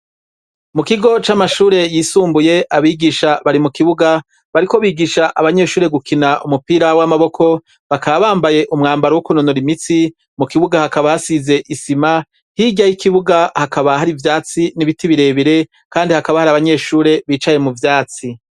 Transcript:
Mu kigo c'amashure yisumbuye abigisha bari mu kibuga bariko bigisha abanyeshure gukina umupira w'amaboko bakabambaye umwambaro w'ukunonora imitsi mu kibuga hakaba hasize isima hirya yo'ikibuga hakaba hari ivyatsi n'ibiti birebire, kandi hakaba hari abanyeshure bicaye mu vyatsi.